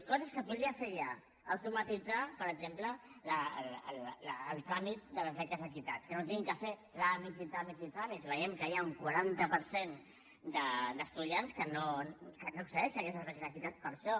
coses que podria fer ja automatitzar per exemple el tràmit de les beques equitat que no hagin de fer tràmits i tràmits i tràmits veiem que hi ha un quaranta per cent d’estudiants que no accedeixen a aquestes beques equitat per això